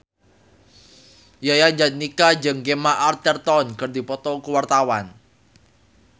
Yayan Jatnika jeung Gemma Arterton keur dipoto ku wartawan